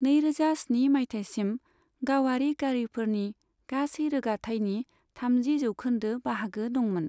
नैरोजा स्नि माइथायसिम, गावारि गारिफोरनि गासै रोगाथाइनि थामजि जौखोन्दो बाहागो दंमोन।